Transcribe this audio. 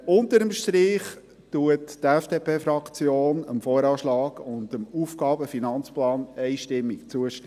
Unter dem Strich stimmt die FDPFraktion dem VA und dem AFP einstimmig zu.